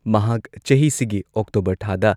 ꯃꯍꯥꯛ ꯆꯍꯤꯁꯤꯒꯤ ꯑꯣꯛꯇꯣꯕꯔ ꯊꯥꯗ